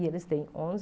E eles têm onze